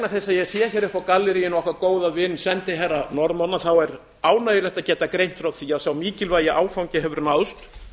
ég sé hér uppi í galleríinu okkar góða vin sendiherra norðmanna er ánægjulegt að geta greint frá því að sá mikilvægi áfangi hefur náðst